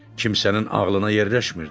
Kimsənin ağlına yerləşmirdi.